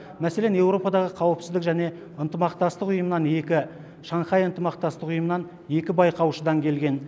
мәселен еуропадағы қауіпсіздік және ынтымақтастық ұйымынан екі шанхай ынтымақтастығы ұйымынан екі байқаушыдан келген